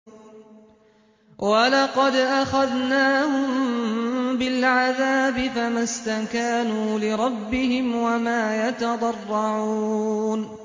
وَلَقَدْ أَخَذْنَاهُم بِالْعَذَابِ فَمَا اسْتَكَانُوا لِرَبِّهِمْ وَمَا يَتَضَرَّعُونَ